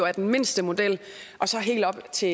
er den mindste model og så helt op til